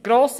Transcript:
Grosse